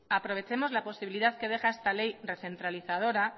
aprovechemos la posibilidad que deja esta ley recentralizadora